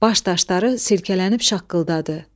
Baş daşları silkələnib şaqqıldadı.